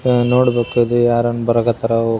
ಹ ನೋಡ್ಬೇಕು ಅದು ಯಾರನ್ನು ಬರಾಕ್ ಹತ್ತಾರ ಹೋ --